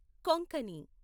Konkani